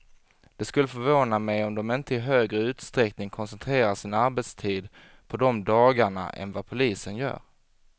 Det skulle förvåna mig om de inte i högre utsträckning koncentrerar sin arbetstid på de dagarna än vad polisen gör.